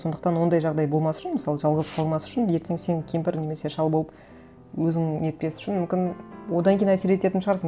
сондықтан ондай жағдай болмас үшін мысалы жалғыз қалмас үшін ертең сен кемпір немесе шал болып өзің нетпес үшін мүмкін одан кейін әсер ететін шығарсың